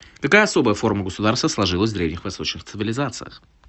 какая особая форма государства сложилась в древних восточных цивилизациях